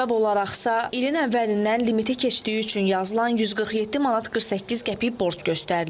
Səbəb olaraqsa ilin əvvəlindən limiti keçdiyi üçün yazılan 147 manat 48 qəpik borc göstərilib.